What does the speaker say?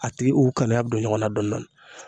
A tigi u kanuya be don ɲɔgɔn na dɔn dɔni.